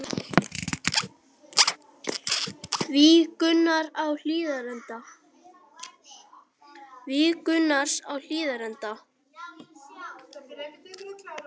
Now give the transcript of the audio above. Víg Gunnars á Hlíðarenda